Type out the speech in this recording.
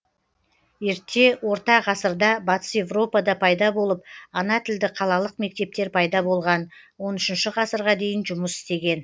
ерте орта ғасырда батыс европада пайда болып ана тілді қалалық мектептер пайда болған он үшінші ғасырға дейін жұмыс істеген